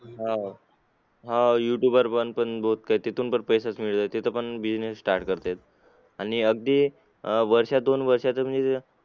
हो हो youtube वर पण बहुत काय ते तिथून पण पैसा मिळते तिथे पण business start करता येईल अं आणि अगदी वर्ष दोन वर्षातून